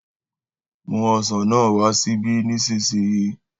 mú ọsán náà wà síbí nísìsiyìí